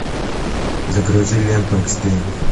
загрузи ленту экстрим